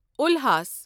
الحاس